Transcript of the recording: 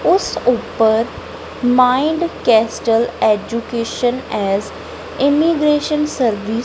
ਉਸ ਉੱਪਰ mind kestrel education as immigration service --